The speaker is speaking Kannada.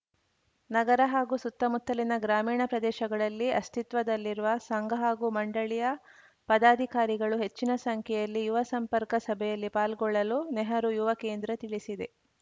ನಗರ ಹಾಗೂ ಸುತ್ತಮುತ್ತಲಿನ ಗ್ರಾಮೀಣ ಪ್ರದೇಶಗಳಲ್ಲಿ ಅಸ್ತಿತ್ವದಲ್ಲಿರುವ ಸಂಘ ಹಾಗೂ ಮಂಡಳಿಯ ಪದಾಧಿಕಾರಿಗಳು ಹೆಚ್ಚಿನ ಸಂಖ್ಯೆಯಲ್ಲಿ ಯುವ ಸಂಪರ್ಕ ಸಭೆಯಲ್ಲಿ ಪಾಲ್ಗೊಳ್ಳಲು ನೆಹರು ಯುವ ಕೇಂದ್ರ ತಿಳಿಸಿದೆ